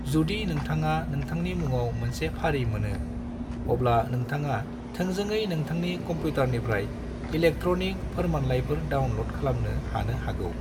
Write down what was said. जुदि नोंथाङा नोंथांनि मुङाव मोनसे फारि मोनो, अब्ला नोंथाङा थोंजोङै नोंथांनि कंप्यूटरनिफ्राय इलेक्ट्रनिक फोरमानलायफोर डाउनलड खालामनो हानो हागौ।